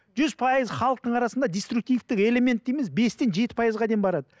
жүз пайыз халықтың арасында дистркутивтік элемент дейміз бестен жеті пайызға дейін барады